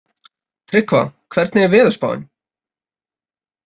Tryggva, hvernig er veðurspáin?